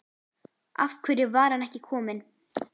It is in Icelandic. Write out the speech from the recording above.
Af hverju var hann ekki kominn?